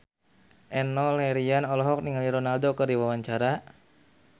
Enno Lerian olohok ningali Ronaldo keur diwawancara